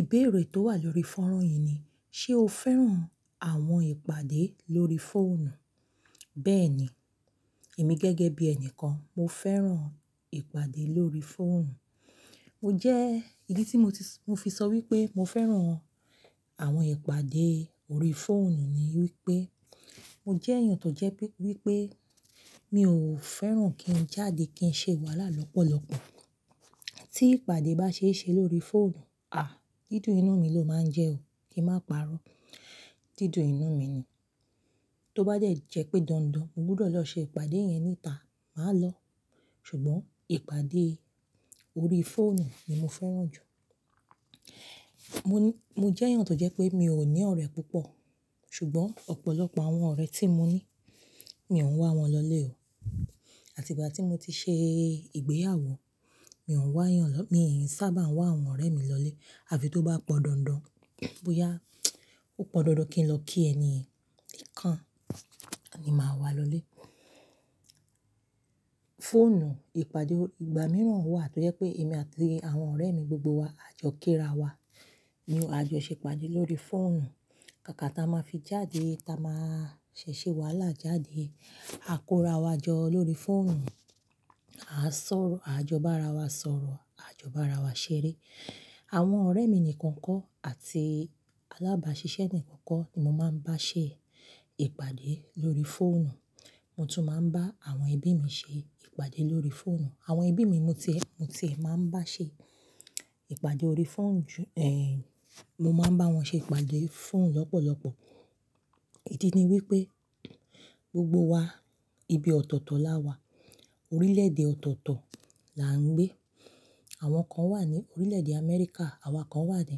Ìbéèrè tó wà lórí fọ́nrán yìí ni, ṣe o fẹ́ràn àwọn ìpàdé lórí fóònù? Bẹ́ẹ̀ni, èmi gẹ́gẹ́ bí ẹni kan mo fẹ́ràn ìpàdé lórí fóònù. Mo jẹ́, ìdí tí mo fi sọ wípé mo fẹ́ràn àwọn ìpàdé ori fóònù ni wípé, mo jẹ́ èèyàn tó jẹ́ wípé mi ò fẹ́ràn kí n jáde kí n ṣe wàhálà lọ́pọ̀lọpọ̀. Tí ìpàdé bá ṣe é ṣe lórí fóònù, à, dìdùn inú mi ló máa jẹ́ o, kí n má parọ́. Dìdùn inú mi ni. Tó bá de jẹ́ pé dandan mo gbúdọ̀ lọ ṣe ìpàdé yẹn níta, màá lọ. Ṣùgbọ́n ìpàdé ori fóònù ni mo fẹ́ràn jù. Mo jẹ́ èèyàn tó jẹ́ pé mi ò ní ọ̀rẹ́ púpọ̀. Ṣùgbọ́n ọ̀pọ̀lọpọ̀ àwọn ọ̀rẹ́ tí mo ní, mi ò ń wá wọn lọlé o. Àti ìgbà tí mo ti ṣe ìgbéyàwó, mi ò ń wá èèyàn lọ-- mi sábà ń wá àwọn ọ̀rẹ́ mi lọlé. Àfi tó bá pọndandan, bóyá ó pọndandan kí n lọ kí ẹniyen nikan ni màá wá lọlé. Fóònù ìpàdé, ìgbà mìíràn wà tó jẹ́ pé èmi àti àwọn ọ̀rẹ́ mi gbogbo wa, à jọ kíra wa, ni a jọ ṣe ìpàdé lórí fóònù. Kàkà tí a máa fi jáde, tí a máa ṣẹ̀ ṣe wàhálà jáde, à kórà wa jọ lórí fóònù. A sọ̀rọ̀, a jọ bá ara wa sọ̀rọ̀, a jọ bá ara wa ṣeré. Àwọn ọ̀rẹ́ mi nìkan kọ́ àti alábàáṣiṣẹ́ mi nìkan kọ́ ni mo máa ń bá ṣe ìpàdé lórí fóònù. Mo tún máa ń bá àwọn ẹbí mi ṣe ìpàdé lórí fóònù. Àwọn ẹbí mi mo ti, mo ti e máa ń bá ṣe ìpàdé ori fóònù ju-- èè, mo máa ń bá wọn ṣe ìpàdé fóònù lọ́pọ̀lọpọ̀. Idí ni wípé gbogbo wa ibi ọ̀tọ̀ọ̀tọ̀ la wà. Orílẹ̀-èdè ọ̀tọ̀ọ̀tọ̀ la ń gbé. Àwọn kan wà ní orílẹ̀-èdè Amẹ́ríkà, àwa kan wà ní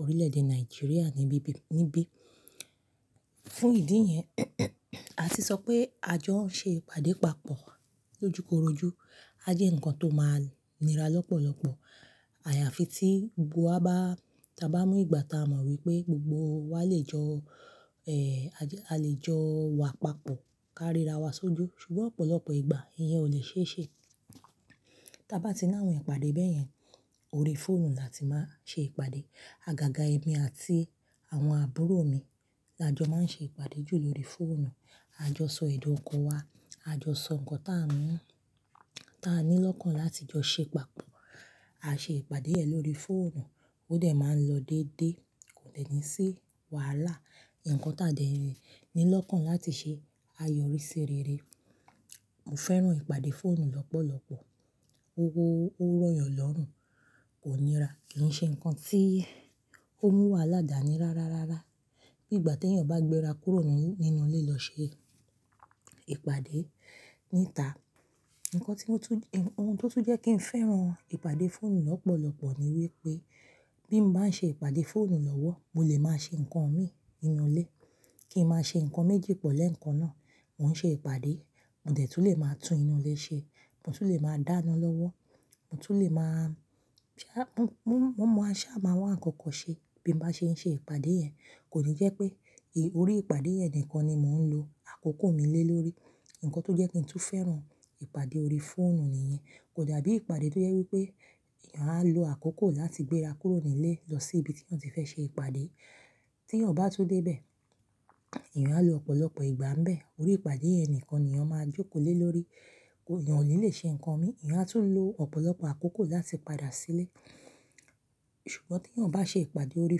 orílẹ̀-èdè Nàìjíríà níbí. Fún ìdí yẹn, a tì sọ pé a jọ ń ṣe ìpàdé papọ̀ lójúkorojú. Á jẹ́ nǹkan tó máa nira lọ́pọ̀lọpọ̀. Àyàfi tí gbogbo wa bá, ta bá mú ìgbà ta mọ wípé gbogbo wa lè jọ, èè a lè jọ wa papọ̀ káríra wa sójú. Ṣùgbọ́n ọ̀pọ̀lọpọ̀ ìgbà ìyẹn ò lè ṣe é ṣe. Ta bá ti ná àwọn ìpàdé bẹ́yẹn, ori fóònù la ti máa ṣe ìpàdé. Àgàgà èmi àti àwọn àbúrò mi la jọ máa ń ṣe ìpàdé jù lórí fóònù. A jọ sọ èdun ọkan wa, a jọ sọ nǹkan tá n mú, ta ní lọ́kàn láti jọ ṣe papọ̀. A ṣe ìpàdé yẹn lórí fóònù. Ó dẹ̀ máa ń lọ dédé. Kò dẹ́ni sí wàhálà. Nǹkan táa dẹ́ni lọ́kàn láti ṣe, a yọrí sí rere. Mo fẹ́ràn ìpàdé fóònù lọ́pọ̀lọpọ̀. Ó rọ̀yàn lọ́rùn, kò nira. Kì í ṣe ǹkan tí ó mú wàhálà dání rárá rárá. Bí ìgbà tí èèyàn bá gbéra kúrò nínú ilé lọ ṣe ìpàdé níta. Nǹkan tí ó tún jẹ́, ohun tó tún jẹ́ kí n fẹ́ràn ìpàdé fóònù lọ́pọ̀lọpọ̀ ni wípé bí mo bá ṣe ìpàdé fóònù lọ́wọ́, mo lè máa ṣe ǹkan mi inú ilé. Kí n máa ṣe ǹkan méjì pọ̀ lẹ́ẹ̀kan náà. Mo ń ṣe ìpàdé, mo dẹ̀ tún lè máa tún inú ilé ṣe, mo tún lè máa dáná lọ́wọ́, mo tún lè máa-- ṣá, mọ̀-mọ̀ àṣá máa wá ǹkankan ṣe bí mo bá ṣe ń ṣe ìpàdé yẹn. Kò ní jẹ́ pé, orí ìpàdé yẹn nìkan ni mò ń lo àkókò mi lé lórí. Nǹkan tó jẹ́ kí n tún fẹ́ràn ìpàdé ori fóònù nìyẹn. Kò dabí ìpàdé tó jẹ́ wípé èèyàn á lo àkókò láti gbéra kúrò ní ilé lọ sí ibi tí wọ́n ti fẹ́ ṣe ìpàdé. Tí èèyàn bá tún dé bẹ̀, èèyàn á lo ọ̀pọ̀lọpọ̀ ìgbà ń bẹ̀ orí ìpàdé yẹn nìkan ni èèyàn máa jókòó lé lórí. Èèyàn ò ní lè ṣe ǹkan mi. Èèyàn á tún lo ọ̀pọ̀lọpọ̀ àkókò láti padà sílé. Ṣùgbọ́n tí èèyàn bá ṣe ìpàdé ori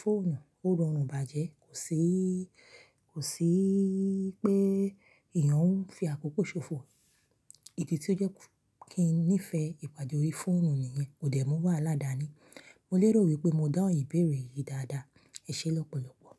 fóònù, ó rọrùn bàjẹ́. Kò sí, kò sí pé èèyàn ń fi àkókò ṣòfò. Idí tí ó jẹ́ kí n nífẹ̀ẹ́ ìpàdé ori fóònù nìyẹn. Kò dẹ̀ mú wàhálà dání. Mo lérò wípé mo dáhùn ìbéèrè yìí dáadáa. Ẹ ṣé lọ́pọ̀lọpọ̀.